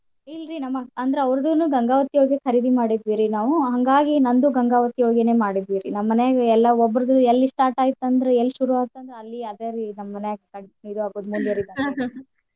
ಇಲ್ರೀ ನಮ್ ಅಂದ್ರ ಅವರ್ದುನೂ ಗಂಗಾವತಿ ಒಳ್ಗ ಖರೀದಿ ಮಾಡಿದ್ವಿರೀ ನಾವು ಹಂಗಾಗಿ ನಂದು ಗಂಗಾವತಿ ಒಳ್ಗನ್ ಮಾಡಿದ್ವಿ ರೀ. ನಮ್ ಮನ್ಯಾಗ ಎಲ್ಲಾ ಒಬ್ಬರ್ದು ಎಲ್ಲಿ start ಆಯ್ತ್ ಅಂದ್ರ ಎಲ್ ಶುರುವೈತ್ ಅಂದ್ರ ಅಲ್ಲಿ ಅದ ರೀ ಹಿರ್ಯಾರ ಬಿಟ್ ಮುಂದ್ ವರಿಬಾರ್ದ .